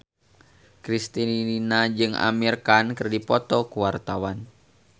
Kristina jeung Amir Khan keur dipoto ku wartawan